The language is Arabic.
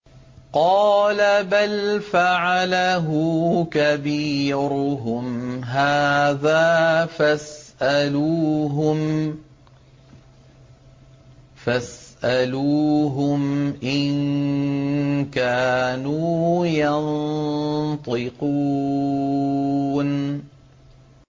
قَالَ بَلْ فَعَلَهُ كَبِيرُهُمْ هَٰذَا فَاسْأَلُوهُمْ إِن كَانُوا يَنطِقُونَ